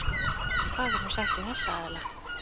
Hvað verður nú sagt við þessa aðila?